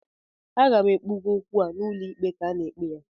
Aga m kpụga okwu a n'ụlọ ikpe ka e ekpe ya